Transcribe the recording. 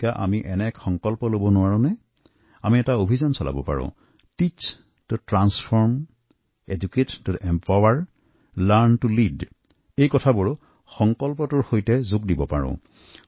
এই লৈ আমি সকলোৱে মিলি এনে সংকল্প লব নোৱাৰো নে এক মিছন মদে ত এটা অভিযান আৰম্ভ কৰিব নোৱাৰিনে teach to transform educate to empower learn to lead এই শপত লৈ এই প্ৰতিশ্ৰুতিৰে আমি আগুৱাই যাব পাৰোঁ